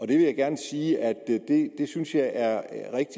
det vil jeg gerne sige at det synes jeg er